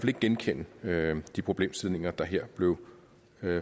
ikke genkende de problemstillinger der her blev